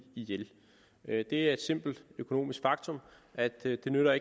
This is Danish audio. ihjel det er et simpelt økonomisk faktum at det ikke nytter